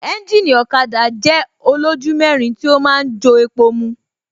Ẹ́ńjìnì ọ̀kada jẹ́ olójú mẹ́rin tí ó ma ń jo epo mu